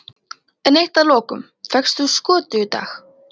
En eitt að lokum, fékkst þú skötu í dag?